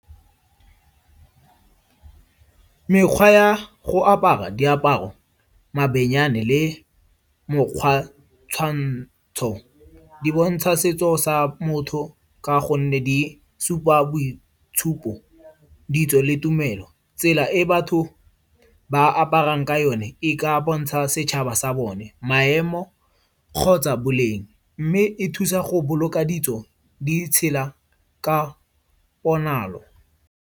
Mekgwa ya go apara diaparo, mabenyane le mokgwa tshwantsho di bontsha setso sa motho ka gonne di supa boitshupo le tumelo. Tsela e batho ba aparang ka yone e ka bontsha setšhaba sa bone, maemo kgotsa boleng. Mme e thusa go boloka ditso di tshela ka ponalo.